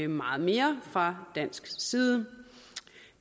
meget mere fra dansk side